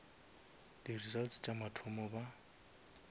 di results la mathomo ba